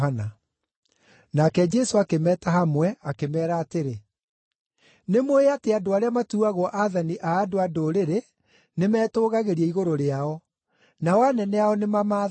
Nake Jesũ akĩmeeta hamwe akĩmeera atĩrĩ, “Nĩ mũũĩ atĩ andũ arĩa matuuagwo aathani a andũ-a-Ndũrĩrĩ nĩmetũũgagĩria igũrũ rĩao, nao anene ao nĩmamaathaga.